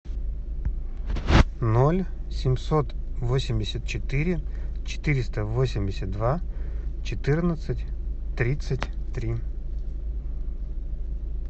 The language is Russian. ноль семьсот восемьдесят четыре четыреста восемьдесят два четырнадцать тридцать три